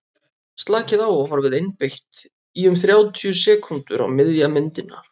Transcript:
slakið á og horfið einbeitt í um þrjátíu sekúndur á miðja myndina